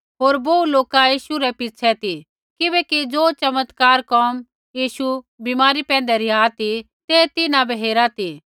होर बोहू लोका यीशु रै पिछ़ै ती किबैकि ज़ो चमत्कारा कोम यीशु बीमारा पैंधै रिहा ती ते तिन्हां बै हेरा ती